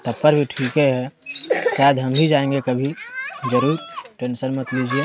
भी ठीके है शायद हम भी जाएंगे कभी जरूर टेंशन मत लीजिये।